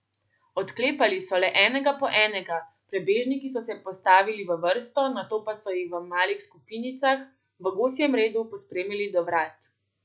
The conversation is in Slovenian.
Odklepali so le enega po enega, prebežniki so se postavili v vrsto, nato pa so jih v malih skupinicah v gosjem redu pospremili do vrat.